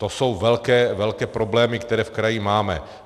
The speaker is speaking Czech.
To jsou velké problémy, které v kraji máme.